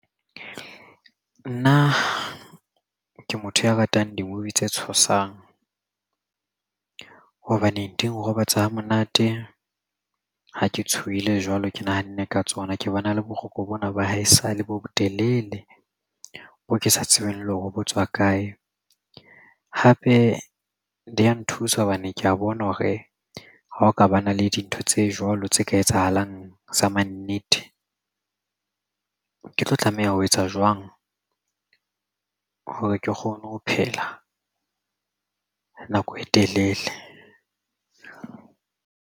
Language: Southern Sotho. Nna ke motho ya ratang di-movie tse tshosang hobane di nrobatsa hamonate ha ke tshohile jwalo ke nahanne ka tsona ke bona le boroko bona ba haesale bo telele bo ke sa tsebeng le hore bo tswa kae. Hape di ya nthusa hobane ke ya bona hore ha o ka ba na le dintho tse jwalo tse ka etsahalang sa mannete ke tlo tlameha ho etsa jwang hore ke kgona ho phela nako e telele.